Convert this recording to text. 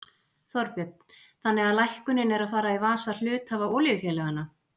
Þorbjörn: Þannig að lækkunin er að fara í vasa hluthafa olíufélaganna?